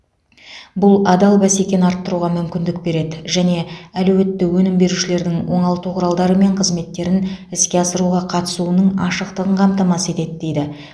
бұл адал бәсекені арттыруға мүмкіндік береді және әлеуетті өнім берушілерді оңалту құралдары мен қызметтерін іске асыруға қатысуының ашықтығын қамтамасыз етеді дейді